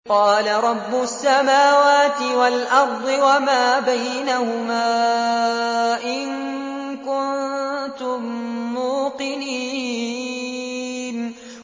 قَالَ رَبُّ السَّمَاوَاتِ وَالْأَرْضِ وَمَا بَيْنَهُمَا ۖ إِن كُنتُم مُّوقِنِينَ